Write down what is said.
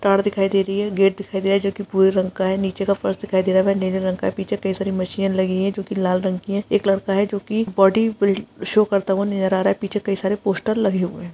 तार दिखाई दे रही है गेट दिखाई दे रहा जो कि भूरे रंग का है नीचे का फर्श दिखाई दे रहा वे नीले रंग का है पीछे कई सारी मशीने लगी है जो कि लाल रंग की है एक लड़का है जो कि बॉडी बि शो करता हुआ नजर आ रहा है पीछे कई सारे पोस्टर लगे हुए है।